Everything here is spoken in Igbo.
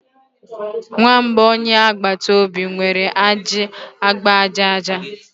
Nwamba onye agbata obi nwere ajị agba aja aja.